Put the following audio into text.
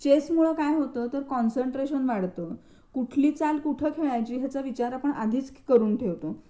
Chess मुळे काय होतं तर कॉन्सन्ट्रेशन वाढतं. कुठली चाल कुठे खेळायची याचा विचार आपण आधीच करून ठेवतो.